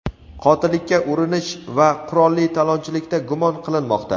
qotillikka urinish va qurolli talonchilikda gumon qilinmoqda.